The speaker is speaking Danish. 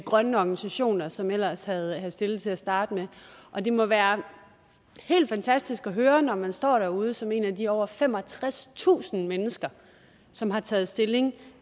grønne organisationer som ellers havde stillet det til at starte med og det må være helt fantastisk at høre når man står derude som et af de over femogtredstusind mennesker som har taget stilling